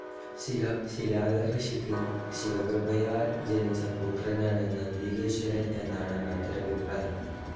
ശിലാദ ഋഷിക്ക് ശിവകൃപയാൽ ജനിച്ച പുത്രനാണ് നന്ദികേശ്വരൻ എന്നാണ് മറ്റൊരഭിപ്രായം.